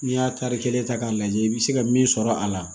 N'i y'a tari kelen ta k'a lajɛ i bi se ka min sɔrɔ a la